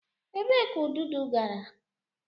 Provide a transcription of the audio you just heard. Ebee ka ududo gara?